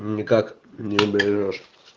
ну никак не уберёшь